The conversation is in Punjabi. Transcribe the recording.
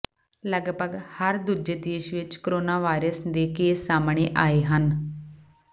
ਲਗਭਗ ਹਰ ਦੂਜੇ ਦੇਸ਼ ਵਿਚ ਕੋਰੋਨਾਵਾਇਰਸ ਦੇ ਕੇਸ ਸਾਹਮਣੇ ਆਏ ਹਨ